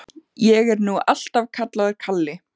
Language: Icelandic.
Ég er nú alltaf kallaður Kalli.